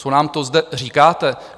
Co nám to zde říkáte?